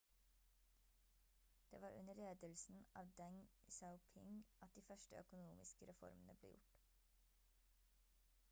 det var under ledelsen av deng xiaoping at de første økonomiske reformene ble gjort